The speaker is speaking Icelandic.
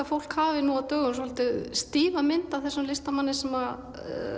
fólk hafi svolítið stífa mynd af þessum listamanni sem